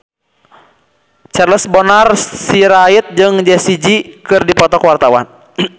Charles Bonar Sirait jeung Jessie J keur dipoto ku wartawan